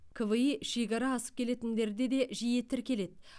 кви шекара асып келетіндерде де жиі тіркеледі